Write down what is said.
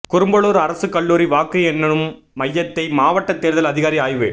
குரும்பலூர் அரசு கல்லூரி வாக்கு எண்ணும் மையத்தை மாவட்ட தேர்தல் அதிகாரி ஆய்வு